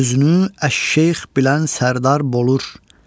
Özünü Əş Şeyx bilən Sərdar bolur.